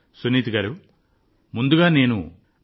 సునీత గారూ ముందుగా నేను మీ గురించి తెలుసుకోవాలనుకుంటున్నాను